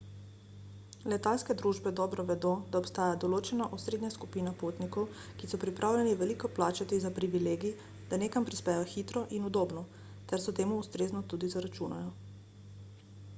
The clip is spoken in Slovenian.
letalske družbe dobro vedo da obstaja določena osrednja skupina potnikov ki so pripravljeni veliko plačati za privilegij da nekam prispejo hitro in udobno ter to temu ustrezno tudi zaračunajo